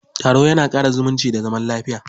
Taro ya na ƙara zumunci da zaman lafiya.